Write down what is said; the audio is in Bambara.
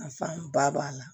Nafa fan ba b'a la